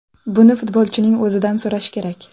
Buni futbolchining o‘zidan so‘rash kerak.